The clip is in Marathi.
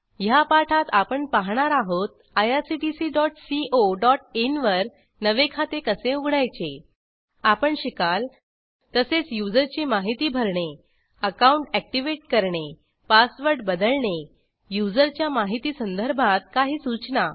ह्या पाठात आपण पहाणार आहोत irctccoइन वर नवे खाते कसे उघडायचे आपण शिकाल तसेच यूझर ची माहिती भरणे अकाउंट Activateकरणे पासवर्ड बदलणे युजरच्या माहिती संदर्भात काही सूचना